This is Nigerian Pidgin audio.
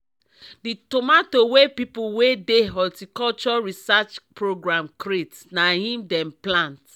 the tomato wey people wey dey horticulture research program create na im dem plant